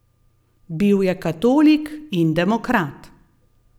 Bil je katolik in demokrat.